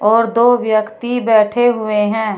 और दो व्यक्ति बैठे हुए हैं।